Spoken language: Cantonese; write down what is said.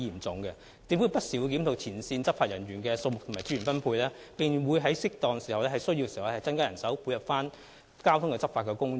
政府不時會檢討前線執法人員的數目及資源分配，在適當時候及在有需要時配合交通執法工作。